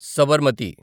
Sabarmati